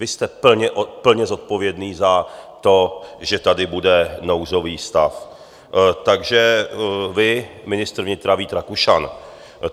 Vy jste plně zodpovědný za to, že tady bude nouzový stav, takže vy, ministr vnitra Vít Rakušan.